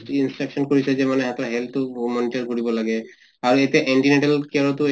instruction কৰিছে যে মানে হেতৰ health তো monitor কৰিব লাগে আৰু এতিয়া anti natal care তো